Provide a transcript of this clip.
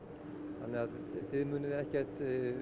þannig að þið munið ekkert